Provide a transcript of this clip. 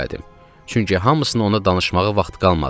Çünki hamısını ona danışmağa vaxt qalmadı.